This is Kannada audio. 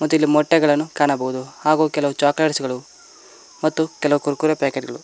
ಮತ್ತಿಲ್ಲಿ ಮೊಟ್ಟೆಗಳನ್ನು ಕಾಣಬಹುದು ಹಾಗು ಕೆಲವು ಚಾಕೊಲೇಟ್ಸ್ ಮತ್ತು ಕೆಲವು ಕುರ್ಕುರೆ ಪಾಕೆಟ್ ಗಳು.